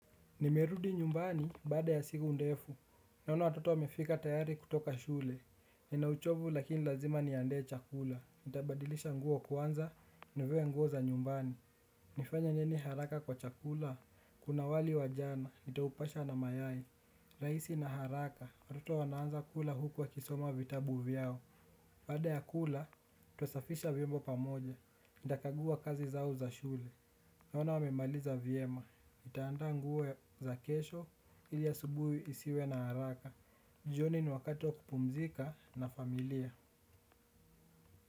Nimerudi nyumbani baada ya siku ndefu, naona watoto wamefika tayari kutoka shule. Nina uchovu lakini lazima niandae chakula, nitabadilisha nguo kwanza, nivae nguo za nyumbani. Nifanye nini haraka kwa chakula, kuna wali wa jana, nitaupasha na mayai. Raisi na haraka, watoto wanaanza kula huku wakisoma vitabu vyao. Baada ya kula, twasafisha viombo pamoja, nitakagua kazi zao za shule naona wame maliza vyema nitaanda nguo za kesho ili asubuhi isiwe na haraka. Jioni ni wakati wa kupumzika na familia.